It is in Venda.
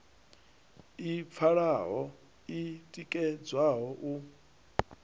i pfalaho i tikedzwaho u